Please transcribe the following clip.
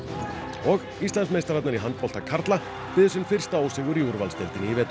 og Íslandsmeistararnir í handbolta karla biðu sinn fyrsta ósigur í úrvalsdeildinni í vetur